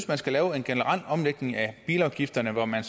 man skal lave en generel omlægning af bilafgifterne hvor man